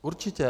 Určitě.